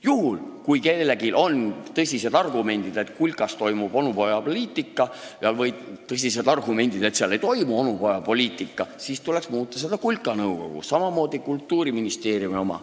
Juhul, kui kellelgi on tõsised argumendid, et kulkas toimub onupojapoliitika, siis tuleks muuta kulka nõukogu, samamoodi Kultuuriministeeriumi oma.